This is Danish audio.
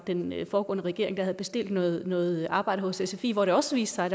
den foregående regering der havde bestilt noget noget arbejde hos sfi hvor det også viste sig